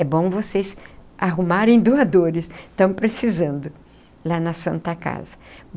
É bom vocês arrumarem doadores, estão precisando, lá na Santa Casa.